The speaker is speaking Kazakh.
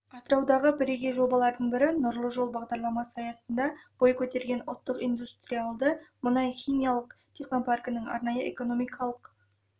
атыраудағы бірегей жобалардың бірі нұрлы жол бағдарламасы аясында бой көтерген ұлттық индустриалды мұнай-химиялық технопаркінің арнайы экономикалық